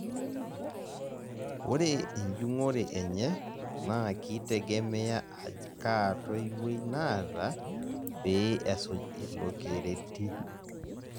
Ore ejung'ore enye naa kitegemea aj kaa toiwoi naata pee esuj ilo kereti